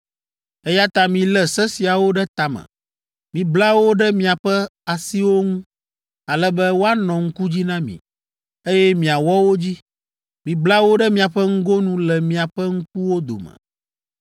eya ta milé se siawo ɖe ta me. Mibla wo ɖe miaƒe asiwo ŋu ale be woanɔ ŋku dzi na mi, eye miawɔ wo dzi. Mibla wo ɖe miaƒe ŋgonu le miaƒe ŋkuwo dome.